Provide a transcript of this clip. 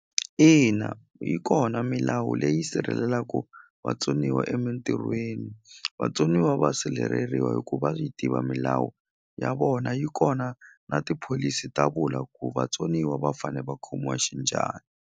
Ina yi kona milawu leyi sirhelelaku vatsoniwa emintirhweni vatsoniwa va sirheleriwa hi ku va yi tiva milawu ya vona yi kona na tipholisi ta vula ku vatsoniwa va fane va khomiwa xinjhani.